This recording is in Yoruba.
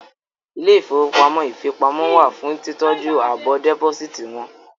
Ilé ìfowópamọ́ ìfipamọ́ wà fún títọ́jú àbọ̀ dẹ́pósíìtì wọn